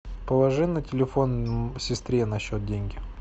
положи на телефон сестре на счет деньги